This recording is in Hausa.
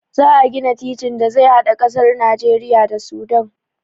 Za a gina titin da zai hada ƙasar Najeriya da Sudan.